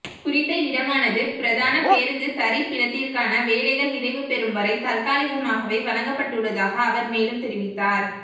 குறித்த இடமானது பிரதான பேருந்து தரிப்பிடத்திற்கான வேலைகள் நிறைவு பெறும் வரை தற்காலிகமாகவே வழங்கப்பட்டுள்ளதாக அவர் மேலும் தெரிவித்தார்